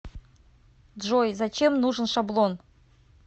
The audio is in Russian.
джой зачем нужен шаблон